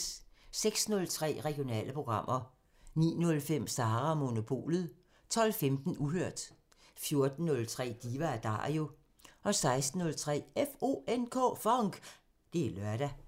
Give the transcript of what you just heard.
06:03: Regionale programmer 09:05: Sara & Monopolet 12:15: Uhørt 14:03: Diva & Dario 16:03: FONK! Det er lørdag